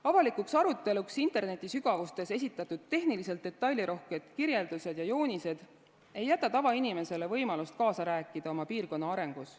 Avalikuks aruteluks internetisügavustes esitatud tehniliselt detailirohked kirjeldused ja joonised ei jäta tavainimesele võimalust kaasa rääkida oma piirkonna arengus.